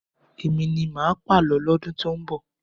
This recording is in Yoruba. Èmi ni máà pàlọ́ lọ́dún tó ń bọ̀.